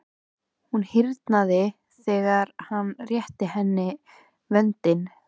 Hún hýrnaði þegar hann rétti henni vöndinn.